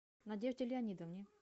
надежде леонидовне